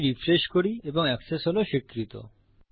এটি রিফ্রেশ করি এবং এক্সেস হল স্বীকৃত